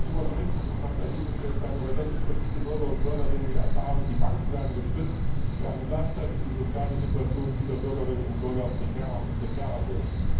Ob das immer so richtig ist, mag dahingestellt sein, aber das ist für viele Bürgerinnen und Bürger die Erfahrung Die Banken werden gestützt, während gleichzeitig die soziale Situation vieler Bürgerinnen und Bürger immer prekärer wird.